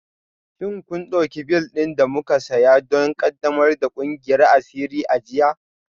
Shin kun ɗauki bel ɗin da muka saya don ƙaddamar da ƙungiyar asiri a jiya?